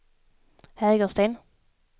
Hägersten